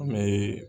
An bɛ